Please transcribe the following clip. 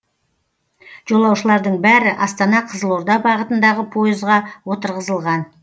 жолаушылардың бәрі астана қызылорда бағытындағы пойызға отырғызылған